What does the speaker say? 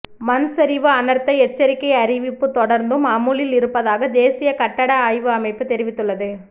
மண் சரிவு அனர்த்த எச்சரிக்கை அறிவிப்பு தொடர்ந்தும் அமுலில் இருப்பதாக தேசிய கட்டட ஆய்வு அமைப்பு தெரிவித்துள்ளது